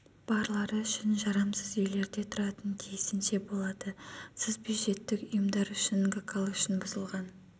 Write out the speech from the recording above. барлары үшін жарамсыз үйлерде тұратын тиісінше болады сызбюджеттік ұйымдар үшін гкал үшін гкал үшін бұзылған